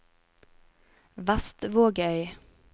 Vestvågøy